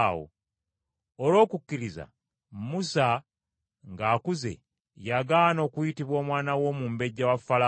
Olw’okukkiriza Musa ng’akuze, yagaana okuyitibwa omwana w’omumbejja wa Falaawo